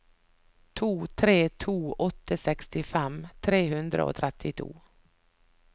to tre to åtte sekstifem tre hundre og trettito